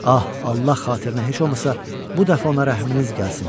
Ah, Allah xatirinə heç olmasa bu dəfə ona rəhminiz gəlsin.